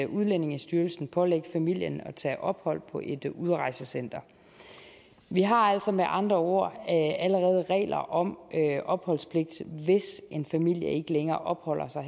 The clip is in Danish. udlændingestyrelsen pålægge familien at tage ophold på et udrejsecenter vi har altså med andre ord allerede regler om opholdspligt hvis en familie ikke længere opholder sig